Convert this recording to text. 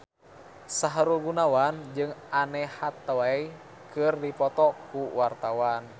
Sahrul Gunawan jeung Anne Hathaway keur dipoto ku wartawan